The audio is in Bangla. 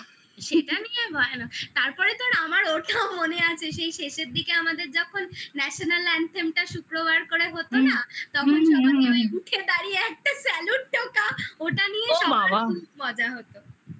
ও সেটা নিয়ে আর ভয়ানক তারপরে তো আর আমার ওটাও মনে আছে সেই শেষের দিকে আমাদের যখন national anthem টা শুক্রবার করে হতো না উঠে দাঁড়িয়ে একটা salute টোকা ওটা নিয়ে খুব মজা হতো